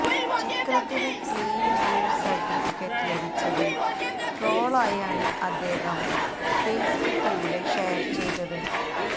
ചിത്രത്തിന് clean U certificate ലഭിച്ചത് ട്രോളായാണ് അദ്ദേഹം ഫേസ്ബുക്കിലൂടെ ഷെയർ ചെയ്തത്